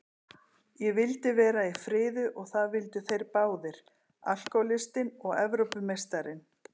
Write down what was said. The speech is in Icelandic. Ég vildi vera í friði og það vildu þeir báðir, alkohólistinn og Evrópumeistarinn.